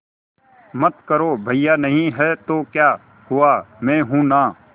मत करो भैया नहीं हैं तो क्या हुआ मैं हूं ना